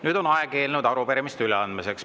Nüüd on aeg eelnõude ja arupärimiste üleandmiseks.